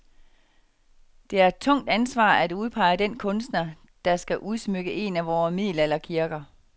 Det er et tungt ansvar at udpege den kunstner, der skal udsmykke en af vore middelalderkirker.